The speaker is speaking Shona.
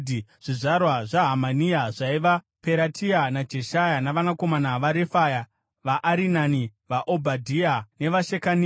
Zvizvarwa zvaHanania zvaiva: Peratia naJeshaya, navanakomana vaRefaya, vaArinani, vaObhadhia nevaShekania.